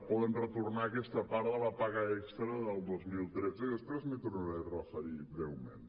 poden retornar aquesta part de la paga extra del dos mil tretze i després m’hi tornaré a referir breument